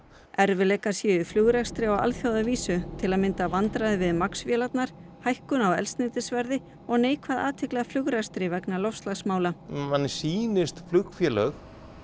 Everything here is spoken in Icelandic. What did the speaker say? erfiðleikar séu í flugrekstri á alþjóðavísu til að mynda vandræði við Max vélarnar hækkun á eldsneytisverði og neikvæð athygli að flugrekstri vegna loftslagsmála manni sýnist flugfélög